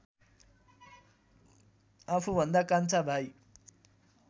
आफूभन्दा कान्छा भाइ